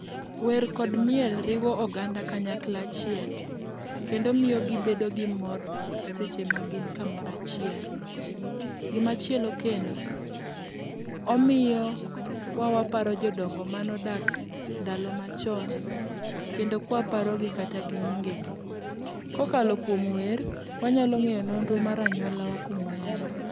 Wer kod miel riwo oganda kanyakla achiel kendo miyo gibedo gi mor seche ma gin kamoro achiel. Gimachielo kendo, omiyowa waparo jodongo manodak ndalo machon kendo kwaparogi kata gi nyingegi. Kokalo kuom wer, wanyalo ng'eyo nonro mar anyuola kuma wayae.